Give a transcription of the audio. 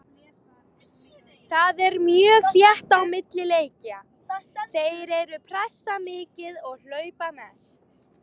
Það er mjög þétt á milli leikja, þeir eru pressa mikið og hlaupa mest.